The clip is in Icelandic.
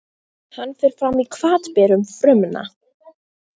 Hann fer fram í hvatberum frumna.